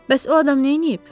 Bəs o adam neynəyib?